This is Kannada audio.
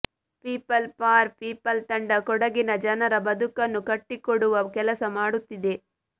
ಪೀಪಲ್ ಫಾರ್ ಪೀಪಲ್ ತಂಡ ಕೊಡಗಿನ ಜನರ ಬದುಕನ್ನು ಕಟ್ಟಿಕೊಡುವ ಕೆಲಸ ಮಾಡುತ್ತಿದೆ